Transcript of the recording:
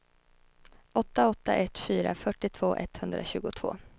åtta åtta ett fyra fyrtiotvå etthundratjugotvå